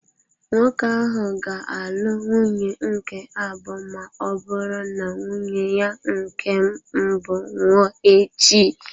Nwoke ahụ ga-alụ nwunye nke abụọ ma ọ bụrụ na nwunye ya nke mbụ nwụọ echi.